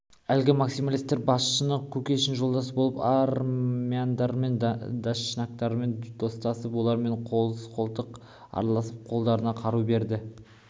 әлгі максималистер басшысы кушекин жолдас болып армяндардың дашнактарымен достасып олармен қоян-қолтық араласып қолдарына қару берді